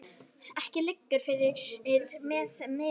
Ekki liggur fyrir með meiðsl mannsins